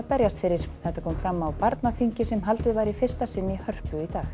berjast fyrir þetta kom fram á barnaþingi sem haldið var í fyrsta sinn í Hörpu í dag